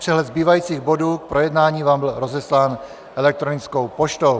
Přehled zbývajících bodů k projednání vám byl rozeslán elektronickou poštou.